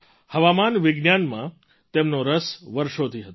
હવામાન વિજ્ઞાનમાં તેમનો રસ વર્ષોથી હતો